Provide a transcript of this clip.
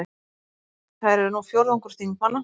Þær eru nú fjórðungur þingmanna